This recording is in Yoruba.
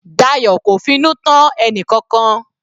Dayo kò finú tán ẹnìkankan.